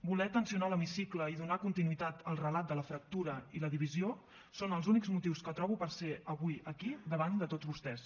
voler tensionar l’hemicicle i donar continuïtat al relat de la fractura i la divisió són els únics motius que trobo per ser avui aquí davant de tots vostès